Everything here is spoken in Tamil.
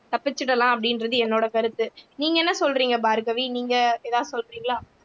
தப்பிச்சிடலாம் அப்படின்றது என்னோட கருத்து நீங்க என்ன சொல்றீங்க பார்கவி நீங்க எதாவது சொல்றீங்களா